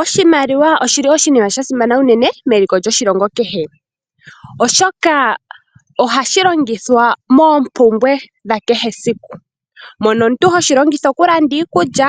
Oshimaliwa oshili oshinima sha simana unene, meliko lyoshilongo kehe. Oshoka ohashi longithwa moompumbwe dha kehe esiku. Mono omuntu hoshilongitha okulanda iikulya,